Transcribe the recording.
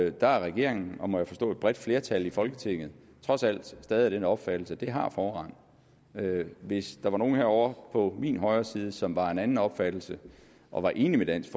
og der er regeringen og må jeg forstå et bredt flertal i folketinget trods alt stadig af den opfattelse at den har forrang hvis der var nogen herovre på min højre side som var af en anden opfattelse og var enig med dansk